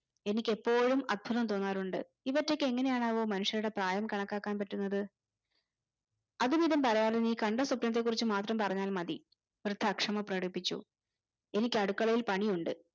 എനിക് എപ്പോഴും അത്ഭുതം തോന്നാറുണ്ട് ഇവറ്റക് എങ്ങനെയാണാവോ മനുഷ്യരുടെ പ്രായം കണക്കാക്കാൻ പറ്റുന്നത് അതുമിതും പറയാതെ നീ കണ്ട സ്വപ്നത്തെ കുറിച് മാത്രം പറഞ്ഞാൽ മതി വൃദ്ധ അക്ഷമ പ്രകടിപ്പിച്ചു എനിക്ക് അടുക്കളയിൽ പണിയുണ്ട്